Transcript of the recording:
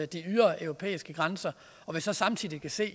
de ydre europæiske grænser og vi så samtidig kan se